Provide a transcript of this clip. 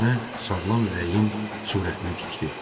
Yerinə sağlam ürəyin surətini tikdi.